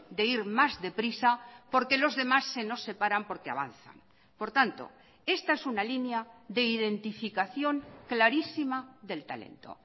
de ir más deprisa porque los demás se nos separan porque avanzan por tanto esta es una línea de identificación clarísima del talento